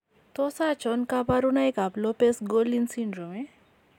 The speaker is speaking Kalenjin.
Tos achon kabarunaik ab Lopes Gorlin syndrome ?